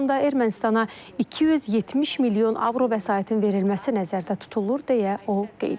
Bu planda Ermənistana 270 milyon avro vəsaitin verilməsi nəzərdə tutulur, deyə o qeyd edib.